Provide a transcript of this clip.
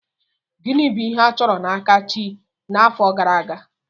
Gịnị bụ ihe a chọrọ n'aka chi n'afọ gara aga?